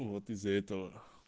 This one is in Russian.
вот из-за этого